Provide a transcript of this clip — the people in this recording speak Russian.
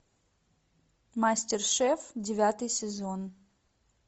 мастер шеф девятый сезон